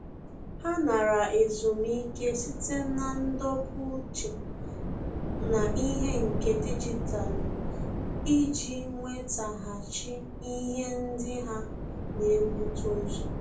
Há nara ezumike site na ndọpụ uche n'ihe nke dijitalụ iji nwétàghàchí ihe ndị há nà-ebute ụzọ.